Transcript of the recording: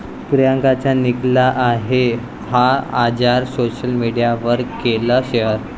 प्रियांकाच्या निकला आहे 'हा' आजार, सोशल मीडियावर केलं शेअर